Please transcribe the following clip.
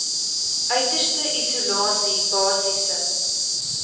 uiterste isolasie basiese